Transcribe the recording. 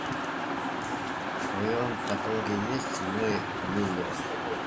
в твоем каталоге есть мы миллеры